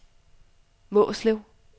Mårslet